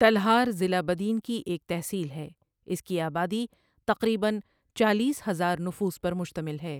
تلہار ضلع بدین کی ایک تحصیل ہے، اس کی آبادی تقریبٱ چالیس ہزار نفوس پر مشتعمل ہے۔